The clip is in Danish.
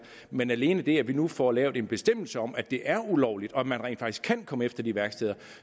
men alene det at vi nu får lavet en bestemmelse om at det er ulovligt og at man rent faktisk kan komme efter de værksteder